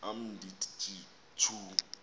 am ndithi tjhu